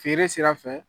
Feere sira fɛ